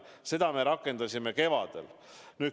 Seda me rakendasime kevadel.